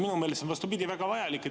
Minu meelest on see, vastupidi, väga vajalik.